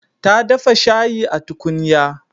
Ta dafa shayi a tukunya.